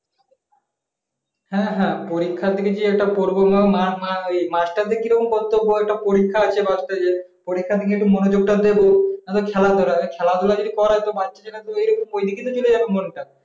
হ্যাঁ হ্যাঁ পরীক্ষার দিকে যে এটা পড়বো মা মা মাস্টারদের কি রকম কর্তব্য একটা পরীক্ষা আছে বাসতে যে পরীক্ষার দিকে একটু মনোযোগ টা দেবো না তো খেলাধুলা খেলাধুলা যদি করায় তো বাচ্চাদের তো হয়ে ওই দিকে চলে যাবে মনটা